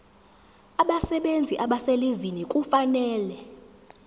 abasebenzi abaselivini kufanele